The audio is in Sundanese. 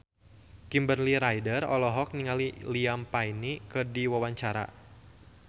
Kimberly Ryder olohok ningali Liam Payne keur diwawancara